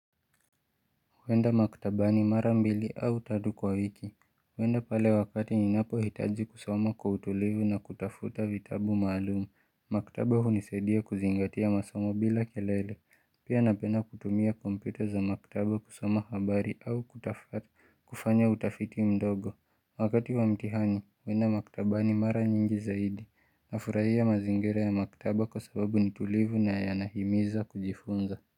Huenda maktabani mara mbili au tatu kwa wiki huenda pale wakati ni napo hitaji kusoma kwa utulivu na kutafuta vitabu maalumu Maktaba unisaidia kuzingatia masoma bila kelele Pia napenda kutumia kompyuta za maktaba kusoma habari au kutafuta kufanya utafiti mdogo Wakati wa mtihani, huenda maktabani mara nyingi zaidi hufurahia mazingira ya maktaba kwa sababu nitulivu na yanahimiza kujifunza.